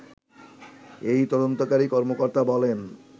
এই তদন্তকারী কর্মকর্তা বলেন